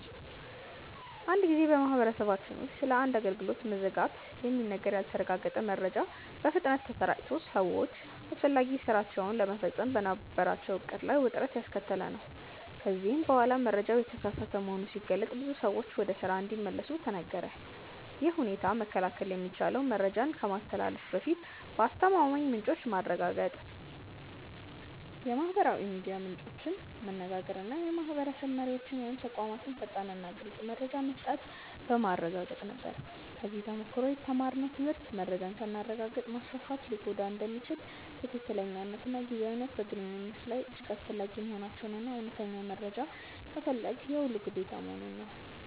አንድ ጊዜ በማህበረሰባችን ውስጥ ስለ አንድ አገልግሎት መዘጋት የሚነገር ያልተረጋገጠ መረጃ በፍጥነት ተሰራጭቶ ሰዎች አስፈላጊ ሥራቸውን ለመፈጸም በነበራቸው ዕቅድ ላይ ውጥረት ያስከተለ ነበር፤ ከዚያ በኋላ መረጃው የተሳሳተ መሆኑ ሲገለጥ ብዙ ሰዎች ወደ ስራ እንዲመለሱ ተነገረ። ይህን ሁኔታ መከላከል የሚቻለው መረጃን ከማስተላለፍ በፊት ከአስተማማኝ ምንጮች ማረጋገጥ፣ የማህበራዊ ሚዲያ ምንጮችን መነጋገር እና የማህበረሰብ መሪዎች ወይም ተቋማት ፈጣንና ግልፅ መረጃ መስጠት በማረጋገጥ ነበር። ከዚህ ተሞክሮ የተማርነው ትምህርት መረጃን ሳናረጋግጥ ማስፋፋት ሊጎዳ እንደሚችል፣ ትክክለኛነትና ጊዜያዊነት በግንኙነት ላይ እጅግ አስፈላጊ መሆናቸውን እና እውነተኛ መረጃ መፈለግ የሁሉም ግዴታ መሆኑን ነው።